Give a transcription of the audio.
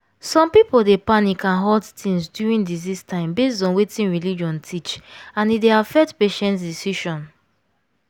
some people dey panic and hoard things during disease time based on wetin religion teach and e dey affect patient decision.